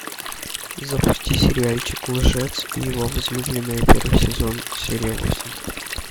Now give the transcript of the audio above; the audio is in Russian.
запусти сериальчик лжец и его возлюбленная первый сезон серия восемь